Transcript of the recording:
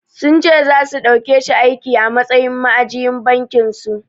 Sun ce zasu ɗaukeshi aiki a matsayin ma'ajiyin bankin su.